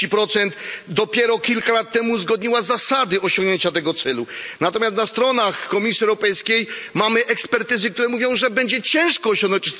40. Dopiero kilka lat temu uzgodniła zasady osiągnięcia tego celu, natomiast na stronach Komisji Europejskiej mamy ekspertyzy, które mówią, że będzie ciężko osiągnąć